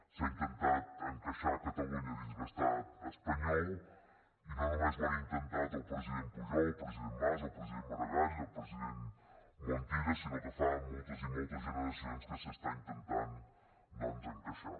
s’ha intentat encaixar catalunya dins l’estat espanyol i no només ho han intentat el president pujol el president mas el president maragall el president montilla sinó que fa moltes i moltes generacions que s’intenta encaixar